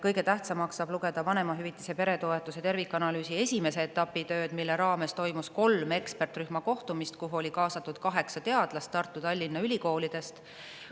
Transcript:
Kõige tähtsamaks saab lugeda vanemahüvitise ja peretoetuste tervikanalüüsi esimese etapi tööd, mille raames toimus kolm ekspertrühma kohtumist, kuhu oli kaasatud kaheksa teadlast Tartu ja Tallinna ülikoolidest.